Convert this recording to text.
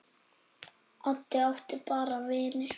Addi átti bara vini.